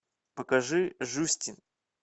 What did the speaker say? покажи жюстин